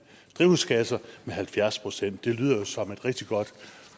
drivhusgasser med halvfjerds procent det lyder jo som et rigtig godt